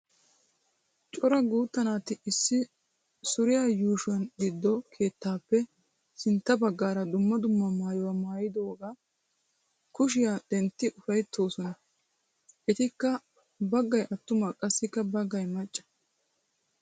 Cora guutta naati issi shuuriwa yuushuwa giddon keettaappe sinttan baggaara dumma dumma maayuwaa maayiyooga kushiya denttidi ufayttoosona. Etikka baggay attuma qassikka baggay macca.